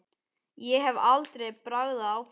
Ég hef aldrei bragðað áfengi.